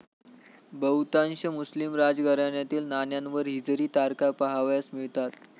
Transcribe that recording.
बहुतांश मुस्लिम राजघराण्यातील नाण्यांवर हिजरी तारखा पाहावयास मिळतात.